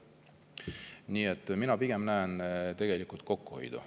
Nii et ma pigem näen selles eelnõus kokkuhoidu.